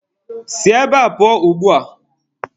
Si ebe a pụọ ugbua!.